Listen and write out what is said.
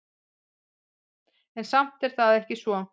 En samt er það ekki svo.